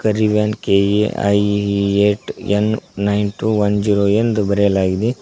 ರಿವನ್ K A I eight N nine two one zero ಎಂದು ಬರೆಯಲಾಗಿದೆ.